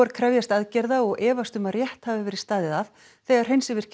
krefjast aðgerða og efast um að rétt hafi verið staðið að þegar